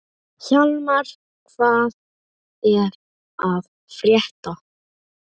Hjálmar, hvað er að frétta?